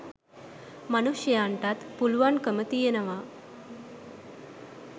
මනුෂ්‍යයන්ටත් පුළුවන්කම තියෙනවා